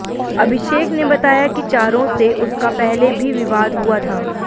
अभिषेक ने बताया कि चारों से उसका पहले भी विवाद हुआ था